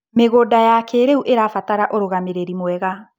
Mĩgũnda ya kĩrĩu ĩrabatara ũrugamĩrĩri mwega.